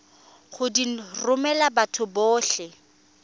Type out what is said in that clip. go di romela batho botlhe